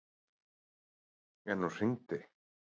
En hún hringdi.